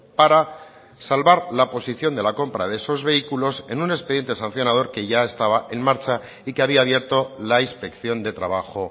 para salvar la posición de la compra de esos vehículos en un expediente sancionador que ya estaba en marcha y que había abierto la inspección de trabajo